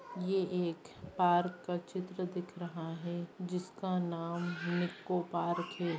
यह एक पार्क का चित्र दिख रहा है जिसका नाम निक्को पार्क है।